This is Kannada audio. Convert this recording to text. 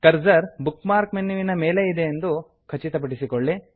ಕ್ರಸರ್ ಬುಕ್ ಮಾರ್ಕ್ ಮೆನ್ಯುವಿನ ಮೇಲೆಯೇ ಇದೆ ಎಂಬುದನ್ನು ಖಚಿತಪಡಿಸಿಕೊಳ್ಳಿ